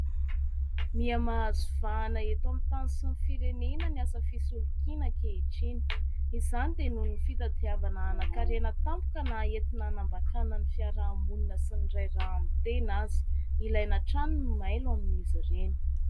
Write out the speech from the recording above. Miha mahazo vahana eto amin'ny tany sy ny firenena ny asa fisolokiana ankehitriny. Izany dia noho ny fitadiavana hanankarena tampoka, na entina hanambakana ny fiarahamonina sy ny iray rà amin'ny tena aza. Ilaina hatrany ny mailo amin'izy ireny.